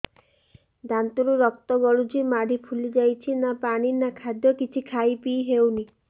ଦାନ୍ତ ରୁ ରକ୍ତ ଗଳୁଛି ମାଢି ଫୁଲି ଯାଉଛି ନା ପାଣି ନା ଖାଦ୍ୟ କିଛି ଖାଇ ପିଇ ହେଉନି